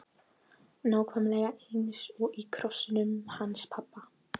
Nákvæmlega eins efni og í krossinum hans pabba!